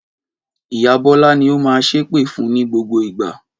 Ìyá Bọ́lá ni ó máa ṣépè fun ní gbogbo ìgbà.